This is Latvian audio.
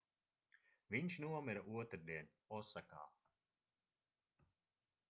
viņš nomira otrdien osakā